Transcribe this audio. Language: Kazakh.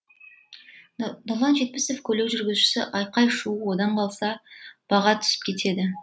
нұрлан жетпісов көлік жүргізушісі айқай шу одан қалса баға түсіп кетеді